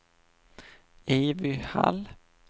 Evy Hall